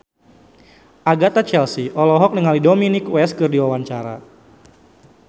Agatha Chelsea olohok ningali Dominic West keur diwawancara